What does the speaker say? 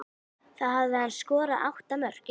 Þá hafði hann skorað átta mörk.